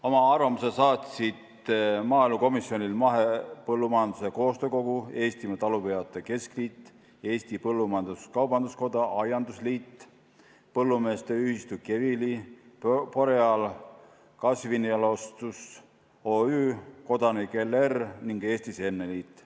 Oma arvamuse saatsid maaelukomisjonile Mahepõllumajanduse Koostöökogu, Eestimaa Talupidajate Keskliit, Eesti Põllumajandus-Kaubanduskoda, Eesti Aiandusliit, Põllumeeste ühistu KEVILI, Boreal Kasvinjalostus Oy, kodanik L. R. ning Eesti Seemneliit.